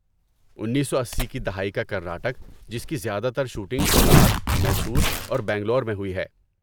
انیسو اسی کی دہائی کا کرناٹک جس کی زیادہ تر شوٹنگ کولار، میسور اور بنگلور میں ہوئی ہے